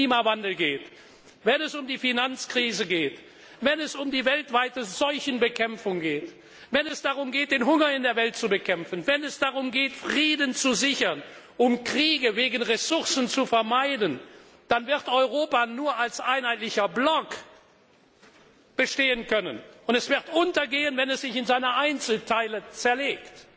Wenn es um Klimawandel geht, wenn es um die Finanzkrise geht, wenn es um die weltweite Seuchenbekämpfung geht, wenn es darum geht, den Hunger in der Welt zu bekämpfen, Frieden zu sichern, um wegen Ressourcen geführte Kriege zu vermeiden, dann wird Europa nur als einheitlicher Block bestehen können, und es wird untergehen, wenn es sich in seine Einzelteile zerlegt.